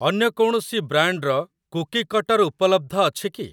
ଅନ୍ୟ କୌଣସି ବ୍ରାଣ୍ଡ୍‌‌‌ର କୁକି କଟର ଉପଲବ୍ଧ ଅଛି କି?